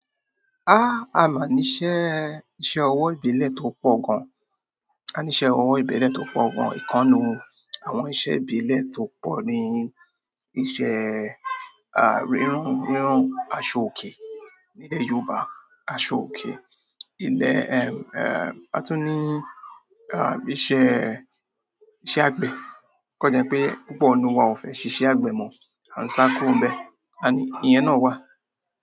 Ah! A máa níṣe, iṣẹ́ ọwọ́ ìbílẹ̀ tó pọ̀ gan. A níṣe ọwọ́ ìbílẹ̀ tó pọ̀ gan. Ìkannu àwọn iṣẹ́ ìbílẹ̀ tó pọ̀ ni iṣẹ́, ah, rírúan, ríran aṣọòkè. Ní ilẹ̀ Yorùbá, aṣọòkè. Ilẹ̀, ẹm, ẹ, àtún ní, ah, iṣẹ́, iṣẹ́ àgbẹ̀. O kan jẹ́ pé púpọ̀ nínú wa ò fẹ́ ṣíṣe àgbẹ̀ mọ́, à ń sá kúrú bẹ́. Ani iyẹn náà wà.